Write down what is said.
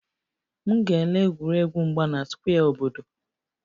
M ga-ele egwuregwu mgba na square obodo